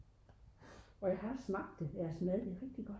og jeg har smagt det deres mad det er rigtigt godt